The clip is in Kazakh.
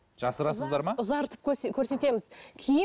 жасырасыздар ма ұзартып көрсетеміз киім